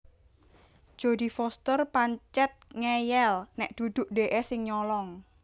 Jodie Foster pancet ngeyel nek duduk dekke sing nyolong